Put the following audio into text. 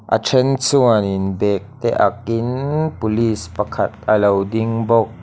a then chuanin bag te ak in police pakhat a lo ding bawk.